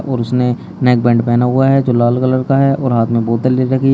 और उसने नेकबैंड पहना हुआ है जो लाल कलर का है और हाथ में बोतल ले रखी है।